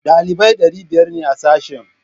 Ɗalibai ɗari biyar ne a sashen